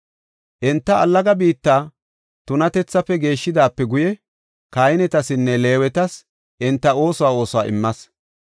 Enta allaga biitta tunatethaafe geeshidaape guye kahinetasinne Leewetas enta oosuwa oosuwa immas.